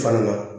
Fana na